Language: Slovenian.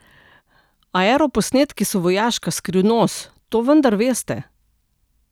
Aeroposnetki so vojaška skrivnost, to vendar veste!